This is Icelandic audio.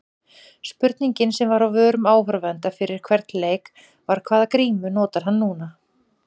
Spurningin sem var á vörum áhorfenda fyrir hvern leik var- hvaða grímu notar hann núna?